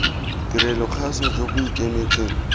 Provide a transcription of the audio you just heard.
tirelo kgaso jo bo ikemetseng